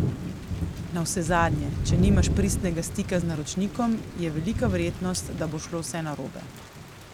Navsezadnje, če nimaš pristnega stika z naročnikom, je velika verjetnost, da bo šlo vse narobe.